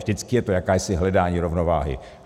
Vždycky je to jakési hledání rovnováhy.